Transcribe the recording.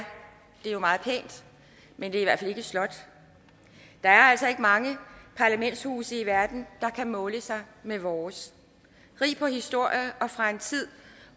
jo meget pænt men det er i ikke et slot der er altså ikke mange parlamentshuse i verden der kan måle sig med vores rigt på historie og fra en tid